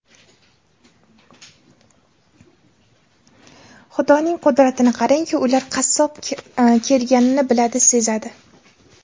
Xudoning qudratini qarangki, ular qassob kelganini biladi, sezadi .